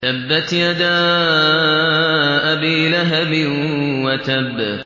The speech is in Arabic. تَبَّتْ يَدَا أَبِي لَهَبٍ وَتَبَّ